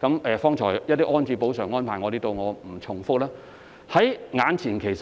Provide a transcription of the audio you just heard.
剛才我曾提及一些補償安置的安排，在此不再重複。